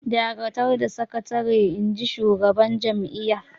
"Dakatar da sakatare!" Inji shugaban jam’iyyar